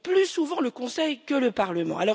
Plus souvent le Conseil que le Parlement.